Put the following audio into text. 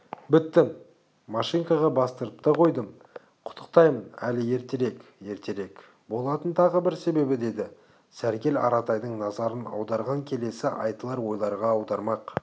біттім машинкаға бастырып та қойдым құттықтаймын әлі ертерек ертерек болатын тағы бір себебі деді сәргел аратайдың назарын келесі айтылар ойларға аудармақ